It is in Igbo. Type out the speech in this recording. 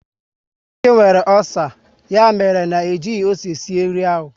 Chike nwere ọcer, ya mere na e jighị m ose sie nri ahụ